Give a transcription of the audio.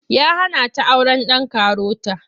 Ya hana ta auren ɗan karota.